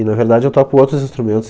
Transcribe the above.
E, na verdade, eu toco outros instrumentos.